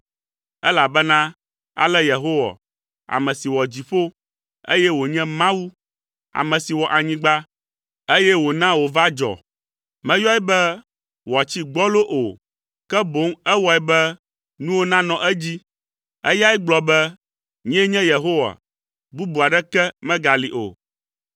elabena ale Yehowa, ame si wɔ dziƒo, eye wònye Mawu, ame si wɔ anyigba, eye wòna wòva dzɔ, meyɔe be wòatsi gbɔlo o, ke boŋ ewɔe be nuwo nanɔ edzi. Eyae gblɔ be, “Nyee nye Yehowa, bubu aɖeke megali o.